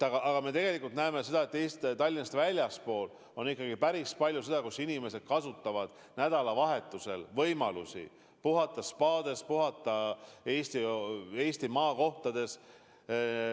Samas me tegelikult näeme seda, et Tallinnast väljaspool on ikkagi päris palju märgata, et inimesed kasutavad nädalavahetusel võimalusi puhata spaades, puhata Eesti maakohtades.